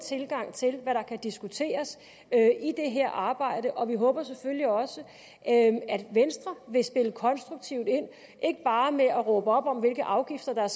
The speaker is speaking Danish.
tilgang til hvad der kan diskuteres i det her arbejde og vi håber selvfølgelig også at venstre vil spille konstruktivt ind ikke bare ved at råbe op om hvilke afgifter der